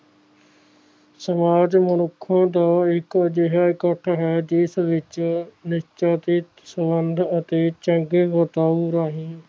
ਸਮਾਜ ਮਨੁੱਖ ਦਾ ਇੱਕ ਅਜਿਹਾ ਤੱਤ ਹੈ ਜਿਸ ਵਿੱਚ ਨੀਚੇ ਕਿ ਸੰਬੰਧ ਤੇ ਚੰਗੇ ਵਪਾਰ ਰਾਹੀਂ